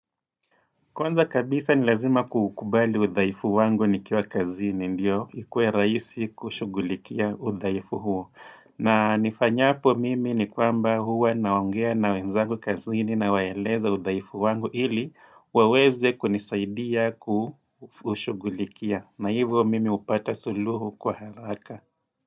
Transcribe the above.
Kwanza kabisa ni lazima kuukubali udhaifu wangu nikiwa kazini ndiyo ikue rahisi kushughulikia udhaifu huo na nifanyapo mimi ni kwamba huwa naongea na wenzangu kazini nawaeleza udhaifu wangu ili waweze kunisaidia kushughulikia na hivyo mimi hupata suluhu kwa haraka.